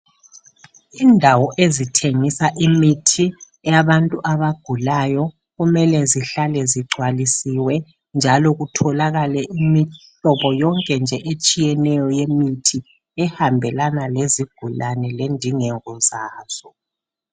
Indawo ezithengisa imithi yabantu abagulayo kumele zihlale zigcwalisiwe njalo kutholakale imihlobo yonke nje etshiyeneyo yemithi ehambelana lezigulane lendingeko zazo.